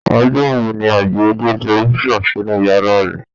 Ọjọ́ wo ni Adio gbé tẹlifísàn sínú yàrá rẹ̀?